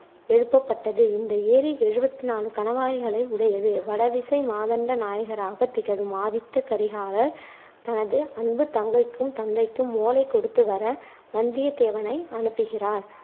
எழுப்பப்பட்டது. இந்த ஏரி எழுவத்தி நாலு கணவாய்களை உடையது. வடதிசை மாதண்ட நாயகராக திகழும் ஆதித்த கரிகாலர் தனது அன்பு தங்கைக்கும், தந்தைக்கும் ஓலை கொடுத்து வர வந்தியத்தேவனை அனுப்புகிறார்.